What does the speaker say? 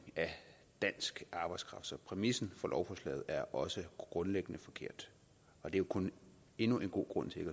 af dansk arbejdskraft så præmissen for lovforslaget er også grundlæggende forkert og det er kun endnu en god grund til